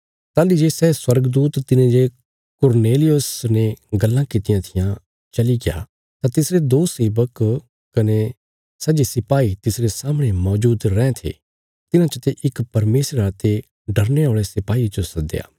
ताहली जे सै स्वर्गदूत तिने जे कुरनेलियुस ने गल्लां कीतियां थिआं चलिग्या तां तिसरे दो सेवक कने सै जे सिपाही तिसरे सामणे मौजूद रैं थे तिन्हां चते इक परमेशरा ते डरने औल़े सिपाहिये जो सदया